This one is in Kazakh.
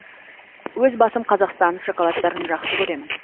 өз басым қазақстан шоколадтарын жақсы көремін